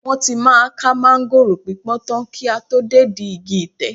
Wọ́n tí máa ká máńgòrò pípọ́n tán kí a tó dédìí igi tẹ̀